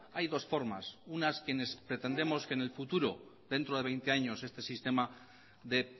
hay dos formas unas quienes pretendemos que en el futuro dentro de veinte años este sistema dé